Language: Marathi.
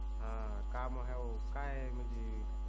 हा काम हाय काय म्हंजी